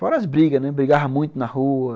Fora as brigas, brigava muito na rua.